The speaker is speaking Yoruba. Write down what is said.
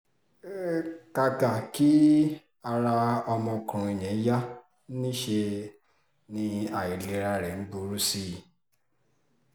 um]kàkà kí ara ọmọkùnrin yẹn yá níṣẹ́ láìlera rẹ̀ ń burú sí i